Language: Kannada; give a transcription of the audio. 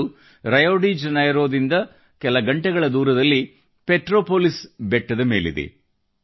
ಅದು ರಿಯೋ ಡಿ ಜನೈರೊದಿಂದ ಒಂದು ಗಂಟೆಯ ದೂರದಲ್ಲಿ ಪೆಟ್ರೊಪೋಲಿಸ್ ಬೆಟ್ಟದ ಮೇಲಿದೆ